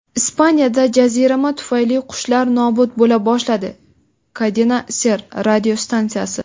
Ispaniyada jazirama tufayli qushlar nobud bo‘la boshladi – "Cadena Ser" radiostansiyasi.